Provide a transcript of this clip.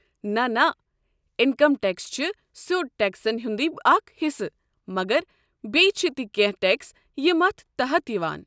نہ نہ، income tax چھِ سیوٚد ٹٮ۪کسن ہُنٛدٕے اکھ حصہٕ، مگر بیٚیہِ چھِ تہِ کٮ۪نٛہہ ٹٮ۪کس یِم اتھ تحت یوان۔